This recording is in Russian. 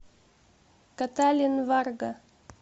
каталин варга